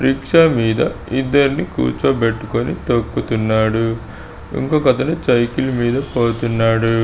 Rickshaw మీద ఇద్దర్ని కూర్చోబెట్టుకొని తొక్కుతున్నాడు. ఇంకొకతను సైకిల్ మీద పోతున్నాడు.